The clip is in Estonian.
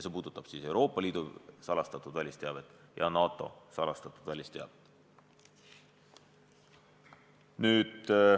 See puudutab Euroopa Liidu salastatud välisteavet ja NATO salastatud välisteavet.